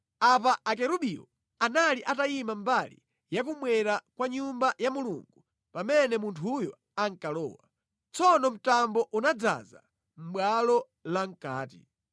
Apa akerubiwo anali atayima mbali ya kummwera kwa Nyumba ya Mulungu pamene munthuyo ankalowa. Tsono mtambo unadzaza bwalo lamʼkati.